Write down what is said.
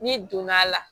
N'i donn'a la